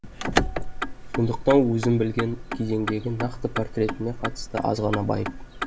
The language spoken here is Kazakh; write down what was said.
сондықтан өзім білген кезеңдегі нақты портретіне қатысты азғана байып